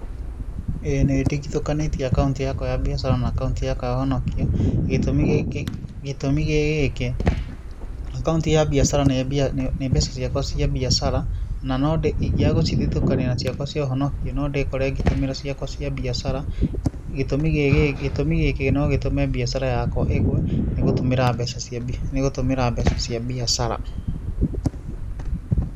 Ĩĩ nĩ ndigithũkanĩtie akaunti yakwa ya mbiacara na akaunti yakwa ya ũhonokio, gĩtũmi gĩ gĩkĩ, akaunti ya mbiacara nĩ mbeca ciakwa cia mbiacara na ingĩaga gũcithitũkania na ciakwa cia ũhonokio no ndĩkore ngĩtũmĩra ciakwa cia mbiacara. Gĩtũmi gĩkĩ no gĩtũme biacara yakwa ĩgwe nĩ gũtũmĩra mbeca cia, nĩ gũtũmĩra mbeca cia mbĩacara